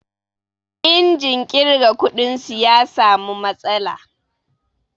Injin ƙirga kuɗin su ya samu matsala.